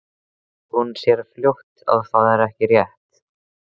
Og hún sér fljótt að það er rétt.